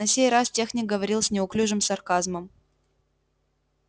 на сей раз техник говорил с неуклюжим сарказмом